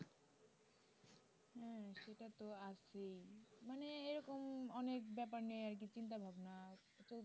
হ্যাঁ সেটা তো আছেই মানে এরকম অনেক ব্যাপার নিয়ে আর কি চিন্তাভাবনা